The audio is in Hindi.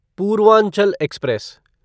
पूर्वांचल एक्सप्रेस